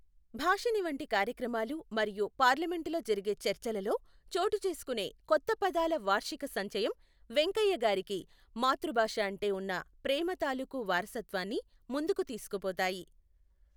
భాషిణి వంటి కార్యక్రమాలు మరియు పార్లమెంటులో జరిగే చర్చలలో చోటు చేసుకొనే కొత్త పదాల వార్షిక సంచయం వెంకయ్య గారికి మాతృభాష అంటే ఉన్న ప్రేమ తాలూకు వారసత్వాన్ని ముందుకు తీసుకు పోతాయి.